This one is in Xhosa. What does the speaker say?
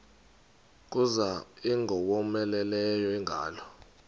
kuza ingowomeleleyo ingalo